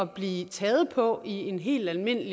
blive taget på i en helt almindelig